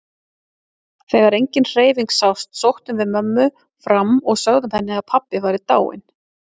Þegar engin hreyfing sást sóttum við mömmu fram og sögðum henni að pabbi væri dáinn.